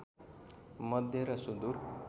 मध्य र सुदूर